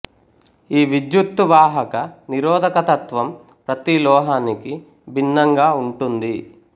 ఈ విద్యుత్తు వాహక నిరొధక తత్వం ప్రతిలోహానికి భిన్నంగా వుంటుంది